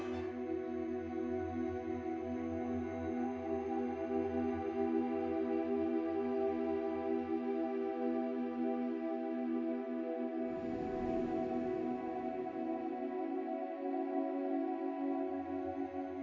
nú